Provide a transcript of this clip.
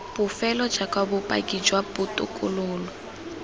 bofelo jaaka bopaki jwa botokololo